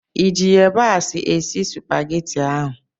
ị ji yabasị esi Supagetii ahụ?